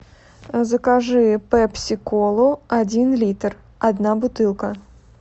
закажи пепси колу один литр одна бутылка